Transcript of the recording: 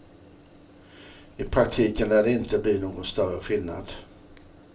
I praktiken lär det inte bli någon större skillnad.